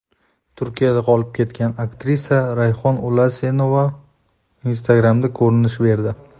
Turkiyada qolib ketgan aktrisa Rayhon Ulasenova Instagram’da ko‘rinish berdi.